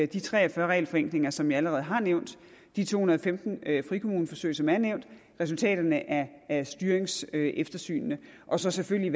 de tre og fyrre regelforenklinger som jeg allerede har nævnt de to hundrede og femten frikommuneforsøg som er nævnt og resultaterne af af styringseftersynene og så selvfølgelig